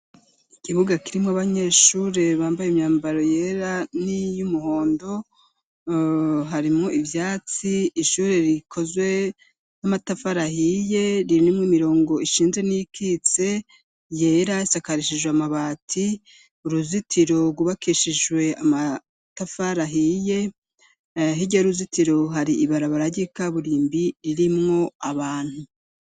Ikibuga kirimwo abanyeshure bambaye imyambaro yera n'iyo umuhondo harimwo ivyatsi ishure rikozwe n'amatafarahiye rinimwo imirongo ishinze n'ikitse yera sakarishijwe amabati uruzitiro rubakishijwe amatafarahia riye hirye aruzitiro hari ibarabara ry'ikaburimbi ririmwo abantu.